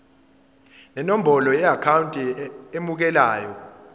nenombolo yeakhawunti emukelayo